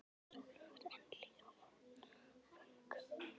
Sólin var enn hlý á vöngum.